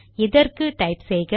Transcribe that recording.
இதற்கு டைப் செய்க